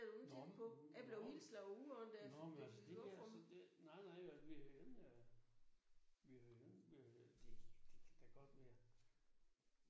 Nå men nu nå nå men det altså det der det nej nej altså det der v vil jo gerne det kan da godt være